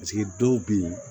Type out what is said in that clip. Paseke dɔw be yen